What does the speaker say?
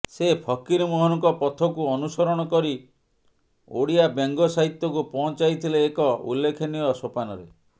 ସେ ଫକୀରମୋହନଙ୍କ ପଥକୁ ଅନୁସରଣ କରି ଓଡ଼ିଆବ୍ୟଙ୍ଗ ସାହିତ୍ୟକୁ ପହଞ୍ଚାଇଥିଲେ ଏକ ଉଲ୍ଲେଖନୀୟ ସୋପାନରେ